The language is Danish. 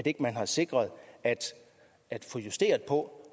ikke har sikret at få justeret på